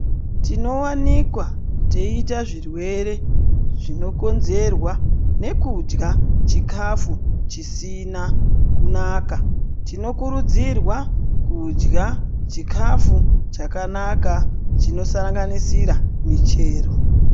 Tinowanikwa teiita zvirwere zvinokonzerwa nekudya chikafu chisina kunaka tinokurudzirwa kudya chikafu chakanaka chinosanganisira michero.